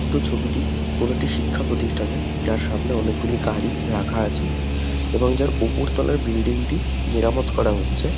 তো ছবিটি কোনো একটি শিক্ষা প্রতিষ্ঠানের। যার সামনে অনেকগুলি গাড়ি রাখা আছে। এবং যার ওপর তলার বিল্ডিং টি মেরামত করা হচ্ছে।